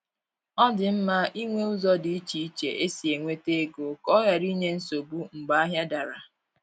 Ọ dị mma inwe ụzọ di iche iche esi enweta ego ka ọ ghara inye nsogbu mgbe ahịa dara